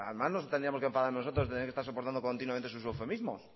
más nos tendríamos que enfadar nosotros de tener que estar soportando continuamente sus eufemismos